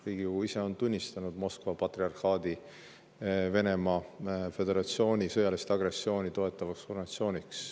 Riigikogu ise on tunnistanud Moskva patriarhaadi Venemaa Föderatsiooni sõjalist agressiooni toetavaks organisatsiooniks.